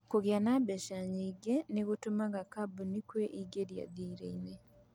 Kũgĩa na mbeca nyingĩ nĩ gũteithagia kambuni kũingĩra thirĩ-inĩ.